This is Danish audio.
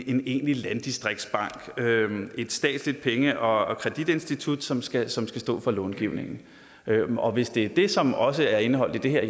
en egentlig landdistriktsbank et statsligt penge og kreditinstitut som skal som skal stå for långivningen og hvis det er det som også er indeholdt i det her